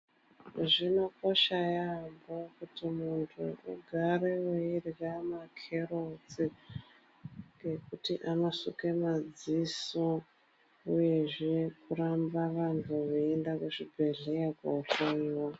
Zvinokosha yambo kuti muntu arambe weirya makerotsi ngekuti anosuke madziso uyezve kuramba vantu veienda kuzvibhedhlera kohloiwa.